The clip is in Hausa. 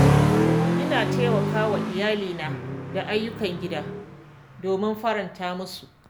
Ina taimaka wa iyalina da ayyukan gida domin faranta musu.